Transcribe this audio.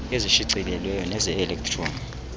ezishicilelweyo neze elektroni